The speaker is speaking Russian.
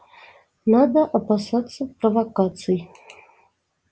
надо опасаться провокаций